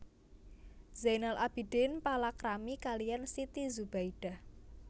Zainal Abidin palakrami kaliyan Siti Zubaidah